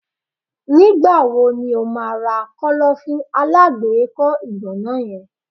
Nígbà wo ni o ma ra Kọ́lọ́fín alágbèékọ́ ìgànná yen?